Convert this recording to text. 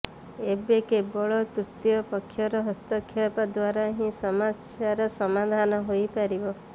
ଏବେ କେବଳ ତୃତୀୟ ପକ୍ଷର ହସ୍ତକ୍ଷେପ ଦ୍ୱାରା ହିଁ ସମସ୍ୟାର ସମାଧାନ ହୋଇପାରିବ